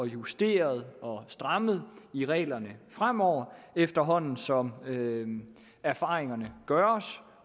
justeret og strammet i reglerne fremover efterhånden som som erfaringerne gøres